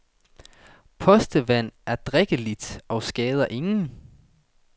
Postevand er drikkeligt og skader ingen.